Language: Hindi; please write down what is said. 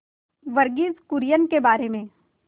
वर्गीज कुरियन के बारे में